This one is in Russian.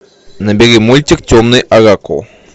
набери мультик темный оракул